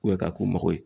k'a ko mago ye